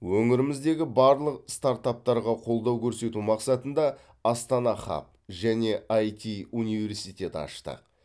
өңіріміздегі барлық стартаптарға қолдау көрсету мақсатында астана хаб және іт университет аштық